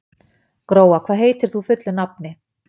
Gróa, hvað heitir þú fullu nafni?